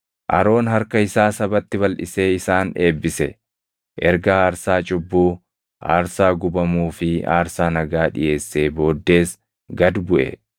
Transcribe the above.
Aroon harka isaa sabatti balʼisee isaan eebbise. Erga aarsaa cubbuu, aarsaa gubamuu fi aarsaa nagaa dhiʼeessee booddees gad buʼe.